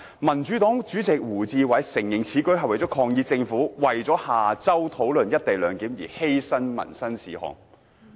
民主黨主席胡志偉承認此舉是抗議政府為了下周討論一地兩檢而犧牲民生事項。